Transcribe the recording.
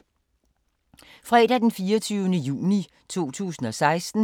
Fredag d. 24. juni 2016